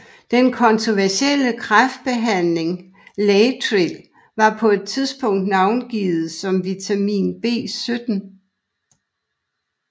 Den kontroversielle kræftbehandling laetril var på et tidspunkt navngivet som vitamin B17